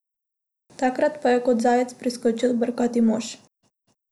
Takrat pa je kot zajec priskočil brkati mož.